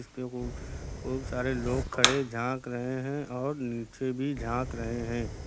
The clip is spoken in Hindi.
बहुत सारे लोग खड़े झांक रहे हैं और नीचे भी झांक रहे हैं।